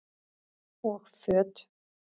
Og föt?